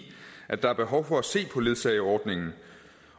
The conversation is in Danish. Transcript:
at der er behov for at se på ledsageordningen